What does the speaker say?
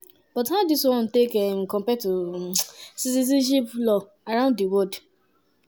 but how dis one take um compare to um citizenship laws around di world?